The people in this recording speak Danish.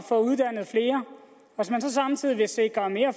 hvis man så samtidig vil sikre mere